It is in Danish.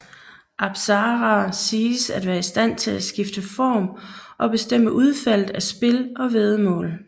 Apsaraer siges at være istand til at skifte form og bestemme udfaldet af spil og væddemål